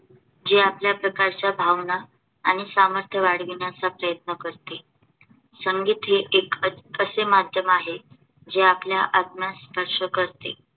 जे आतल्या प्रकारच्या भावना आणि सामर्थ्य वाढविण्याचा प्रयत्न करते. संगीत हे एक असे माध्यम आहे, जे आपल्या आत्म्यास स्पर्श करते